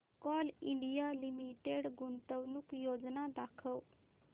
Coal India Limited गुंतवणूक योजना दाखव